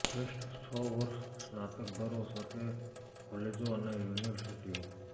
શ્રેષ્ઠ છ વર્ષ સ્નાતક દરો સાથે કોલેજો અને યુનિવર્સિટીઓ